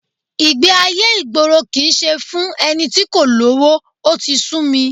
Ìgbé-ayé ìgboro kì í ṣe fún ẹni tí kò lówó, ó ti sú mi